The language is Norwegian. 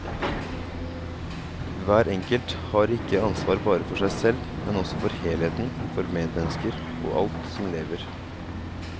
Hver enkelt har ikke ansvar bare for seg selv, men også for helheten, for medmennesker og alt som lever.